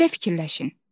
Belə fikirləşin.